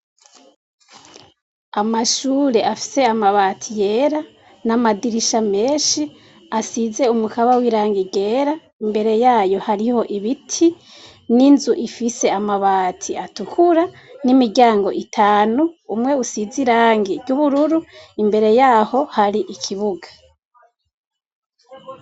Amashure afise amabati yera namadirisha menshi asize umukaba wirangi ryera imbere yaho hariho ibiti ninzu ifise amabati atukura nimiryango itanu umwe usize irangi ryubururu imbere yaho hari ikibuga